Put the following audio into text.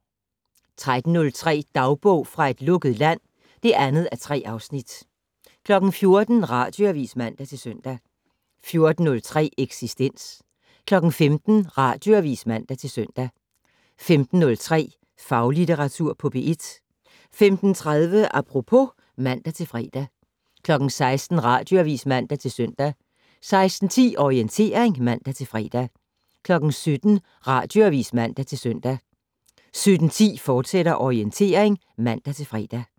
13:03: Dagbog fra et lukket land (2:3) 14:00: Radioavis (man-søn) 14:03: Eksistens 15:00: Radioavis (man-søn) 15:03: Faglitteratur på P1 15:30: Apropos (man-fre) 16:00: Radioavis (man-søn) 16:10: Orientering (man-fre) 17:00: Radioavis (man-søn) 17:10: Orientering, fortsat (man-fre)